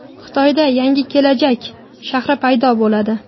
Xitoyda yangi kelajak shahri paydo bo‘ladi.